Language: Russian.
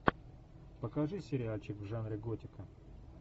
покажи сериальчик в жанре готика